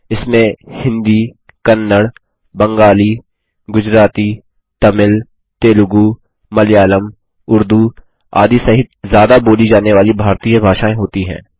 इसमें हिन्दी कन्नड़ बंगाली गुजराती तमिल तेलुगू मलयालम उर्दू आदि सहित ज्यादा बोली जाने वाली भारतीय भाषाएँ होती हैं